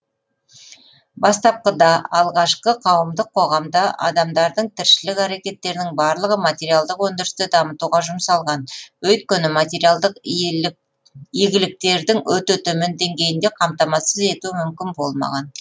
бастапқыда алғашқы қауымдық қоғамда адамдардың тіршілік әрекеттерінің барлығы материалдық өндірісті дамытуға жұмсалған өйткені материалдық иелік игіліктердің өте төмен деңгейінде қамтамасыз ету мүмкін болмаған